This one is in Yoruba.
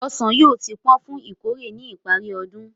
Ọsàn yóò ti pọ́n fún ìkórè ní ìparí oṣù.